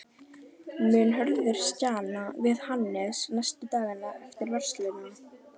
Mun Hörður stjana við Hannes næstu dagana eftir vörsluna?